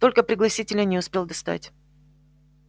только пригласительные не успел достать